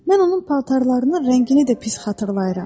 Mən onun paltarlarının rəngini də pis xatırlayıram.